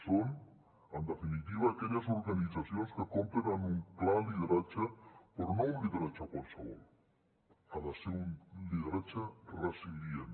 són en definitiva aquelles organitzacions que compten amb un clar lideratge però no un lideratge qualsevol ha de ser un lideratge resilient